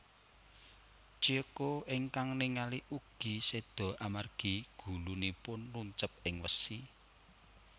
Chieko ingkang ningali ugi seda amargi gulunipun nuncep ing wesi